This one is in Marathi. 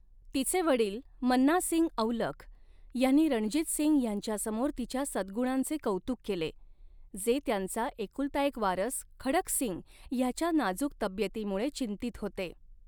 तिचे वडील, मन्ना सिंग औलख ह्यांनी रणजीत सिंग ह्यांच्यासमोर तिच्या सद्गुणांचे कौतुक केले, जे त्यांचा एकुलता एक वारस खडक सिंग ह्याच्या नाजुक तब्येतीमुळे चिंतित होते.